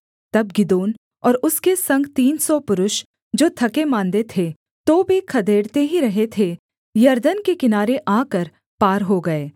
तब गिदोन और उसके संग तीन सौ पुरुष जो थकेमाँदे थे तो भी खदेड़ते ही रहे थे यरदन के किनारे आकर पार हो गए